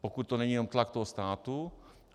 Pokud to není jenom tlak toho státu.